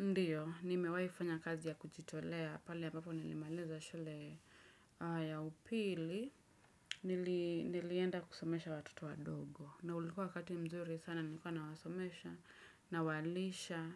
Ndiyo, nimewaifanya kazi ya kujitolea, pale ambapo nilimaliza shule ya upili, nilienda kusomesha watoto wadogo. Na ulikuwa wakati mzuri sana, nilikuwa nawasomesha, nawalisha,